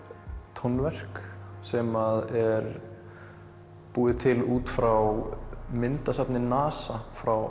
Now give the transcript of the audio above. tónverk sem er búið til út frá myndasafni NASA frá